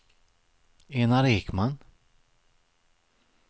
Enar Ekman